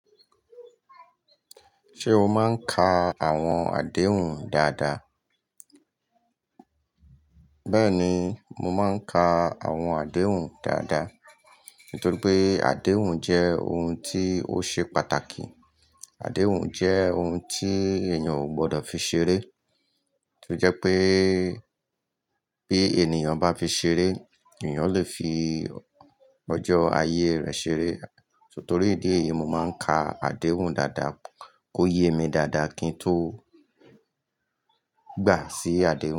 Ṣé o máa ń ka àwọn àdéhùn dáadáa? Bẹ́ẹ̀ni, mo máa ń ka àwọn àdéhùn dáadáa, nítorí pé àdéhùn jẹ́ ohun tí ó ṣe pàtàkì. Àdéhùn jẹ́ ohun tí èèyàn ò gbọdọ̀ fi ṣeré, tí ó jẹ́ pé bí èniyan bá fi ṣeré, èèyàn lè fi ọjọ́ ayé rẹ̀ ṣeré. Nítorí ìdí èyí, mo máa ń ka àdéhùn dáadáa, kó yé mi dáadáa kí n tó gbà sí àdéhùn.